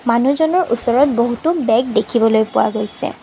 মানুহজনৰ ওচৰত বহুতো বেগ দেখিবলৈ পোৱা গৈছে।